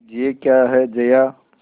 यह क्या है जया